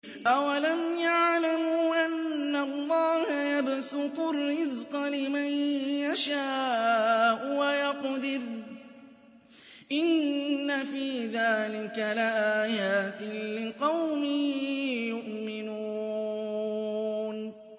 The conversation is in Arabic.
أَوَلَمْ يَعْلَمُوا أَنَّ اللَّهَ يَبْسُطُ الرِّزْقَ لِمَن يَشَاءُ وَيَقْدِرُ ۚ إِنَّ فِي ذَٰلِكَ لَآيَاتٍ لِّقَوْمٍ يُؤْمِنُونَ